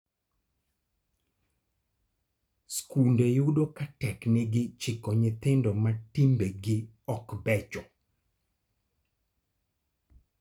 Skunde yudo ka teknegi chiko nyithindo ma timbegi og becho.